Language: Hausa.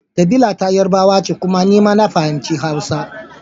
Kabila ta Yarbawa ce kuma ni ma na fahimci Hausa.